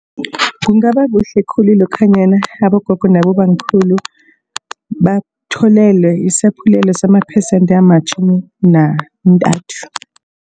Kungaba kuhle khulu lokhanyana abogogo nabobamkhulu batholelwe isaphulelo samaphesente amatjhumi nantathu.